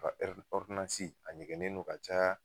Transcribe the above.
U ka ɛri ɔridonanci a ɲɛgɛnnen don ka caya